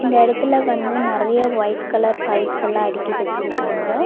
இந்த எடத்துல வந்து நெறையா ஒயிட் கலர் பைப்ஸ்ஸெல்லா அடுக்கி வெச்சுருக்காங்க.